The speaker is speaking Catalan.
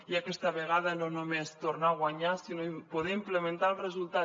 i aquesta vegada no només tornar a guanyar sinó poder implementar el resultat